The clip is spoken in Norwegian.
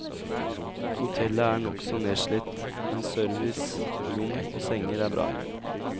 Hotellet er nokså nedslitt, men service, rom og senger er bra.